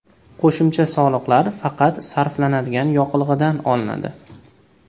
Qo‘shimcha soliqlar faqat sarflanadigan yoqilg‘idan olinadi.